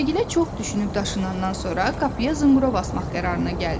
Qaragilə çox düşünüb-daşınandan sonra qapıya zınqrov asmaq qərarına gəldi.